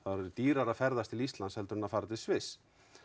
orðið dýrara að ferðast til Íslands heldur en að fara til Sviss